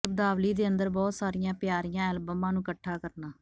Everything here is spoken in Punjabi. ਸ਼ਬਦਾਵਲੀ ਦੇ ਅੰਦਰ ਬਹੁਤ ਸਾਰੀਆਂ ਪਿਆਰੀਆਂ ਐਲਬਮਾਂ ਨੂੰ ਇਕੱਠਾ ਕਰਨਾ